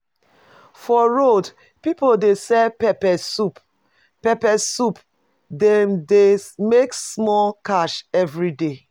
For road people dey sell pepper soup, pepper soup, Dem de make sumol cash everyday